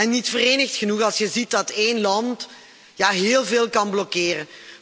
En niet verenigd genoeg, als je ziet dat één land heel veel kan blokkeren.